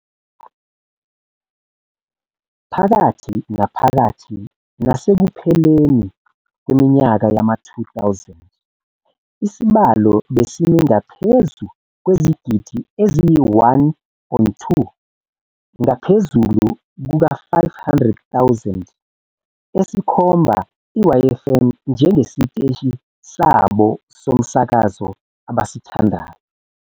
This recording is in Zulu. Phakathi naphakathi nasekupheleni kweminyaka yama-2000 isibalo besimi ngaphezu kwezigidi eziyi-1.2 ngaphezulu kuka-500,000 esikhomba i-YFM njengesiteshi sabo somsakazo abasithandayo.